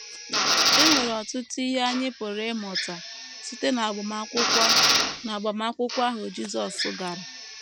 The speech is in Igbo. E nwere ọtụtụ ihe anyị pụrụ ịmụta site n’agbamakwụkwọ n’agbamakwụkwọ ahụ Jisọs gara.